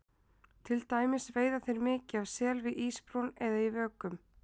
Til dæmis veiða þeir mikið af sel við ísbrún eða í vökum.